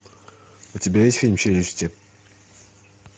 у тебя есть фильм челюсти